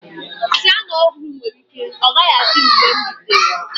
Siyana ọhụrụ nwere ike ọ gaghị adị mgbe m rutere.